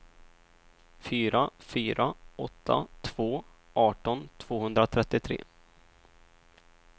fyra fyra åtta två arton tvåhundratrettiotre